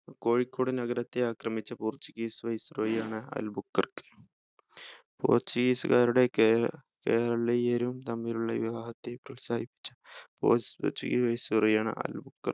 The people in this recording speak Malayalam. കോഴിക്കോട് നഗരത്തെ ആക്രമിച്ച portuguese viceroy യാണ് അൽ ബുക്കർക്ക് portuguese കാരുടെ കെ കേരളീയരും തമ്മിലുള്ള വിവാഹത്തെ പ്രോത്സാഹിപ്പിച്ച portuguese viceroy ആണ് അൽ ബുക്കർക്ക്